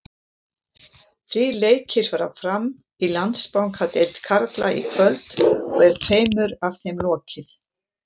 Þrír leikir fara fram í Landsbankadeild karla í kvöld og er tveimur af þeim lokið.